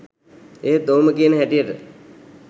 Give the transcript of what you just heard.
එහෙත් ඔහුම කියන හැටියට